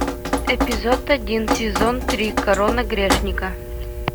эпизод один сезон три корона грешника